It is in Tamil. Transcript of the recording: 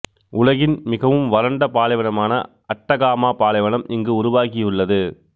உலகின் மிகவும் வறண்ட பாலைவனமான அட்டகாமா பாலைவனம் இங்கு உருவாகியுள்ளது